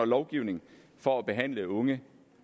lovgivning for at behandle unge